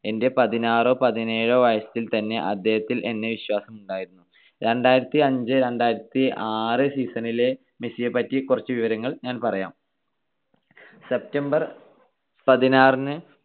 എന്റെ പതിനാറോ പതിനേഴോ വയസ്സിൽത്തന്നെ അദ്ദേഹത്തിൽ എന്നെ വിശ്വാസമുണ്ടായിരുന്നു. രണ്ടായിരത്തിഅഞ്ച് - രണ്ടായിരത്തിആറ് season ലെ മെസ്സിയെ പറ്റി കുറച്ചു വിവരങ്ങൾ ഞാൻ പറയാം. September പതിനാറിന്